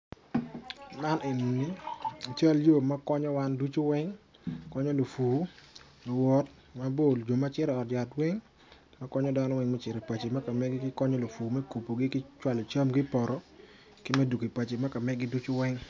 Man enini cal yo makonyo wan ducu weng ma lupur luwot mabol jo macito i ot yat weng makonyo dano weng me kacito i paco me kamegi makonyo lupur mekubogi ki cwalo camgi i poto ki medwogo i paco me kamegigi ki weng.